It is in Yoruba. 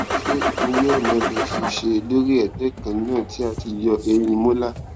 se ipinle ona le se se lori egbe kan na ti a ti yọ ehin molar